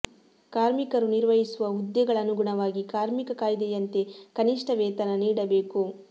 ಕಾರ್ಮಿಕರು ನಿರ್ವಹಿಸುವ ಹುದ್ದೆಗಳ ಅನುಗುಣವಾಗಿ ಕಾರ್ಮಿಕ ಕಾಯ್ದೆಯಂತೆ ಕನಿಷ್ಠ ವೇತನ ನೀಡಬೇಕು